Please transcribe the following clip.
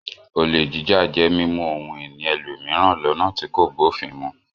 Olè jíjà jẹ mimu ohun ìní ẹlòmíràn lọ́nà tí kò bófin mu.